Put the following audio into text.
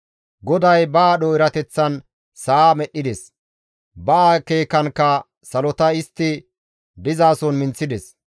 GODAY ba aadho erateththan sa7a medhdhides; ba akeekankka salota istti dizason minththides.